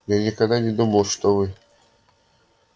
я никогда не думал что вы